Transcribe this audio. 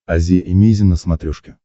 азия эмейзин на смотрешке